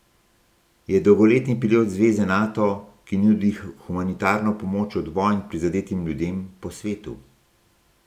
Je dolgoletni pilot zveze Nato, ki nudi humanitarno pomoč od vojn prizadetim ljudem po svetu.